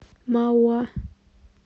мауа